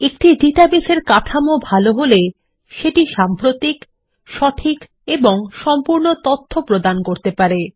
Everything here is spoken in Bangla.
একটি ডাটাবেস এর কাঠামো ভালো হলে সেটি সাম্প্রতিক সঠিক এবং সম্পূর্ণ তথ্য প্রদান করতে পারে